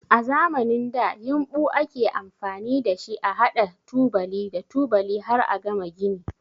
A zamanin da yinɓu ake amfani da shi a haɗa tubali da tubali har a gama gini.